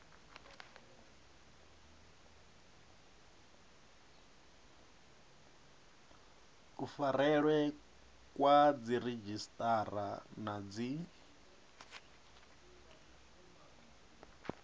kufarelwe kwa dziredzhisiṱara na dzi